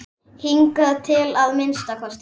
Hingað til að minnsta kosti.